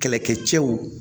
Kɛlɛkɛcɛw